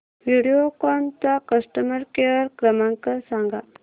व्हिडिओकॉन चा customer care क्रमांक सांगा